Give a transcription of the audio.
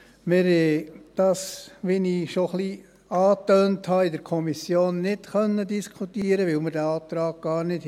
der SiK. Wir haben das, wie ich schon etwas angetönt habe, in der Kommission nicht diskutieren können, weil wir den Antrag auf Rückweisung gar nicht hatten.